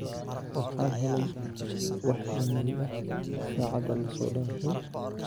waxaan helay wax iimayl ah sacada la soo dafay